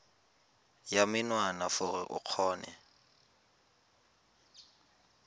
ya menwana gore o kgone